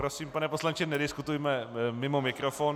Prosím, pane poslanče, nediskutujme mimo mikrofon.